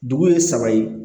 Dugu ye saba ye